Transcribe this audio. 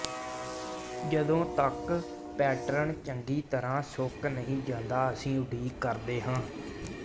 ਜਦੋਂ ਤੱਕ ਪੈਟਰਨ ਚੰਗੀ ਤਰ੍ਹਾਂ ਸੁੱਕ ਨਹੀਂ ਜਾਂਦਾ ਅਸੀਂ ਉਡੀਕ ਕਰਦੇ ਹਾਂ